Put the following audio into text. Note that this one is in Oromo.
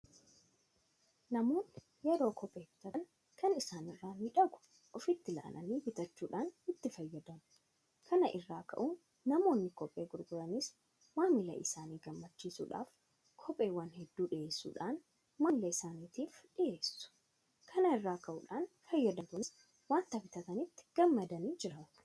Namoonni yeroo kophee bitatan kan isaan irraa miidhagu ofitti ilaalanii bitachuudhaan itti fayyadamu. Kana irraa ka'uudhaan namoonni kophee gurguranis maamila isaanii gammachiisuudhaaf Kopheewwan hedduu dhiyeessuudhaan maamila isaaniitiif dhiyeessu. Kana irraa ka'uudhaan fayyadamtoonnis waanta bitatanitti gammadanii jiraatu.